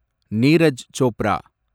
Neeraj Chopra